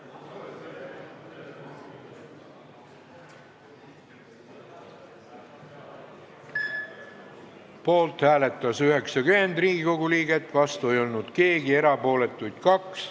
Hääletustulemused Poolt hääletas 90 Riigikogu liiget, vastu ei olnud keegi, erapooletuks jäi 2.